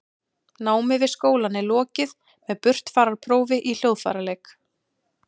námi við skólann er lokið með burtfararprófi í hljóðfæraleik